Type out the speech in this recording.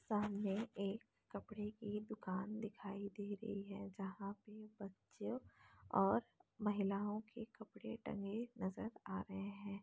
सामने एक कपड़े की दुकान दिखाई दे रही है जहाँ पे बच्चों और महिलाओ के कपड़े टंगे नजर आ रहे है।